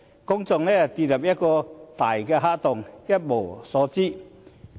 公眾好像跌進一個大黑洞，一無所知。